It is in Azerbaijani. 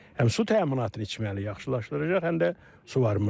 Həm su təminatını içməli yaxşılaşdıracaq, həm də suvarma sahəsini.